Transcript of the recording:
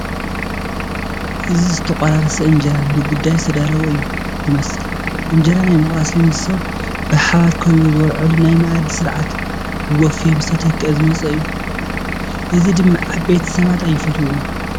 እዚ ዝተቆራረሰ እንጀራ ንጉዳይ ዝተዳለወ እዩ ዝመስል፡፡ እንጀራ ናይ ምቑራስ ልምዲ ሰብ ብሓባር ከቢቡ ዝበልዐሉ ናይ መኣዲ ስርዓት ብቡፌ ምስተተክአ ዝመፀ እዩ፡፡ እዚ ድማ ዓበይቲ ሰባት ኣይፈትዉዎን፡፡